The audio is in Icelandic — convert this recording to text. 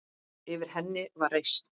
Yfir henni var reisn.